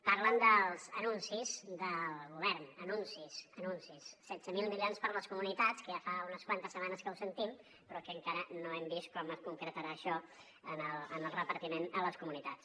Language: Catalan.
parlen dels anuncis del govern anuncis anuncis setze mil milions per a les comunitats que ja fa unes quantes setmanes que ho sentim però que encara no hem vist com es concretarà això en el repartiment a les comunitats